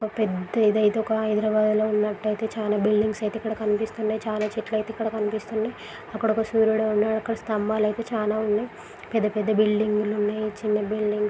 ఇక్కడొక పెద్ద ఇదయితే ఒక హైదరాబాదులో ఉన్నట్లయితే చాలా బిల్డింగ్స్ అయితే కనిపిస్తున్నాయి. చాలా చెట్లయితే ఇక్కడ కనిపిస్తున్నాయి. అక్కడ ఒక సూర్యుడు ఉన్నాడు. అక్కడ ఒక స్థంభాలయితే చాలా ఉన్నాయి. పెద్దపెద్ద బిల్డింగులు ఉన్నాయి. చైనా బిల్డింగులు ఉన్నాయి.